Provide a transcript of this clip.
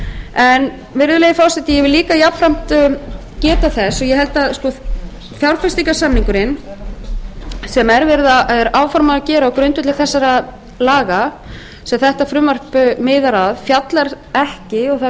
en virðulegi forseti ég vil líka jafnframt geta þess að ég held að fjárfestingarsamningurinn sem er áformað að gera á grundvelli þessara laga sem þetta frumvarp miðar að fjallar ekki og það er vert